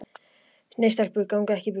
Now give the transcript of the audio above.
Nei, stelpur ganga ekki í buxum.